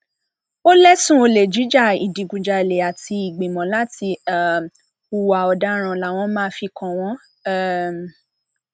ó lẹsùn olè jíja ìdígunjalè àti ìgbìmọ láti um hùwà ọdaràn làwọn máa fi kàn wọn um